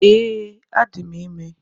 Ee, adi m ime.